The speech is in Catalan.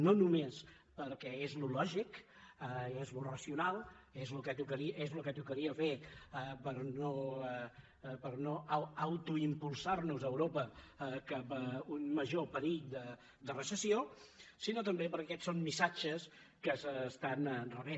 no només perquè és el que és lògic i és el que és racional és el que tocaria fer per no autoimpulsar nos europa cap a un major perill de recessió sinó també perquè aquests són missatges que s’estan rebent